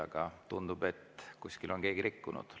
Aga tundub, et kuskil on keegi rikkunud.